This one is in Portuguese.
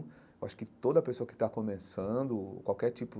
Eu acho que toda pessoa que está começando, qualquer tipo,